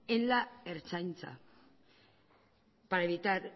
en la ertzaintza para evitar